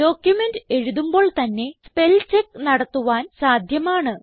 document എഴുതുമ്പോൾ തന്നെ spell check നടത്തുവാൻ സാധ്യമാണ്